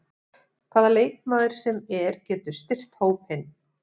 Hvaða leikmaður sem er getur styrkt hópinn.